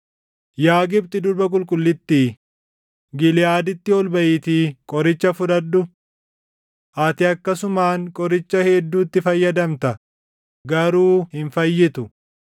“Yaa Gibxi durba qulqullittii, Giliʼaaditti ol baʼiitii qoricha fudhadhu. Ati akkasumaan qoricha hedduutti fayyadamta; garuu hin fayyitu.